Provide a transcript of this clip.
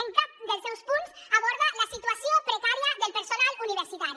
en cap dels seus punts aborda la situació precària del personal universitari